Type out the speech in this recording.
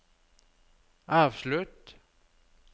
avslutt